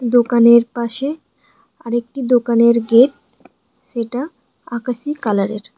দোকানের পাশে আরেকটি দোকানের গেট সেটা আকাশী কালারের।